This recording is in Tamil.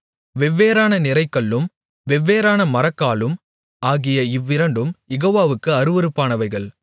வெவ்வேறான நிறைகல்லும் வெவ்வேறான மரக்காலும் ஆகிய இவ்விரண்டும் யெகோவாவுக்கு அருவருப்பானவைகள்